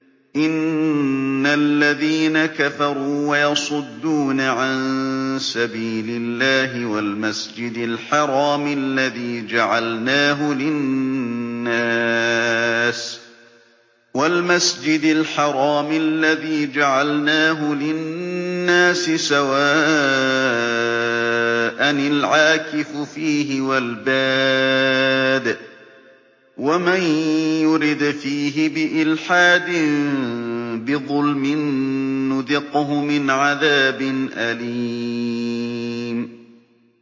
إِنَّ الَّذِينَ كَفَرُوا وَيَصُدُّونَ عَن سَبِيلِ اللَّهِ وَالْمَسْجِدِ الْحَرَامِ الَّذِي جَعَلْنَاهُ لِلنَّاسِ سَوَاءً الْعَاكِفُ فِيهِ وَالْبَادِ ۚ وَمَن يُرِدْ فِيهِ بِإِلْحَادٍ بِظُلْمٍ نُّذِقْهُ مِنْ عَذَابٍ أَلِيمٍ